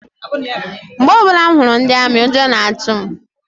Mgbe ọbụla m hụrụ ndi amị, ụjọ na-atụ m.